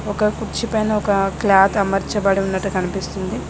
ఒక కుర్చీ పైన ఒక క్లాత్ అమర్చబడి ఉన్నట్టు కనిపిస్తుంది.